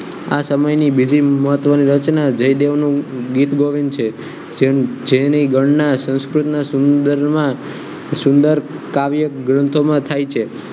આ સમયની ભેગી મહત્વની રચના જયદેવનો ડેટબોડમ છે જેની ગણના સંસ્કૃતના સમુદ્રમાં સુંદર કાવ્ય ગ્રંથોમાં થાય છે